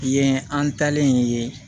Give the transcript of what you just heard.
Yen an talen ye